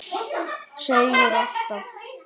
Seigur alltaf.